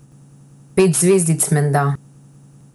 Pet zvezdic menda.